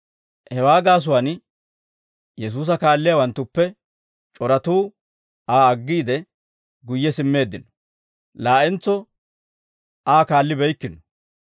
Hewaa gaasuwaan, Yesuusa kaalliyaawanttuppe c'oratuu Aa aggiide, guyye simmeeddino; laa'entso Aa kaallibeykkino.